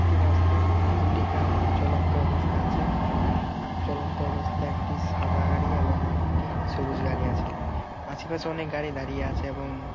একটি রাস্তায় দুটি গাড়ি চলন্ত অবস্থায় আছে । চলন্ত অবস্থায় একটি সাদা গাড়ি এবং একটি সবুজ গাড়ি আছে আশেপাশে অনেক গাড়ি দারিয়ে আছে। এবং--